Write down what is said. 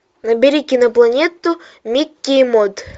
набери кинопланету микки и мод